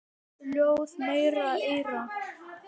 Ljáðu mér eyra.